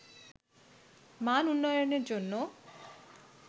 মান উন্নয়নের জন্য